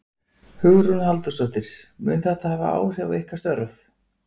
Hugrún Halldórsdóttir: Mun þetta hafa áhrif á ykkar störf?